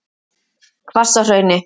Hvassahrauni